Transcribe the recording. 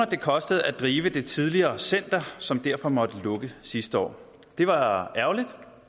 det kostede at drive det tidligere center som derfor måtte lukke sidste år det var ærgerligt